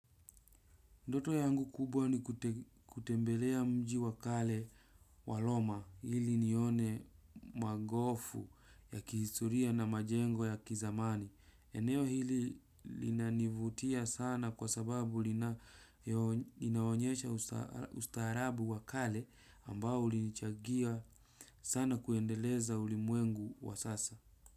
Ndoto yangu kubwa ni kutembelea mji wa kale wa roma ili nione magofu ya kihistoria na majengo ya kizamani. Eneo hili linanivutia sana kwa sababu inaonyesha ustaharabu wa kale ambao ulinichangia sana kuendeleza ulimwengu wa sasa.